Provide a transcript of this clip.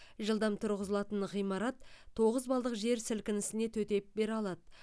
жылдам тұрғызылатын ғимарат тоғыз балдық жер сілкінісіне төтеп бере алады